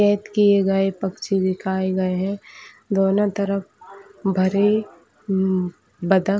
कैद किए गए पक्षी दिखाए गए हैं दोनों तरफ भरे बत्तख--